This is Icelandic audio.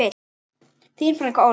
Þín frænka, Ólöf.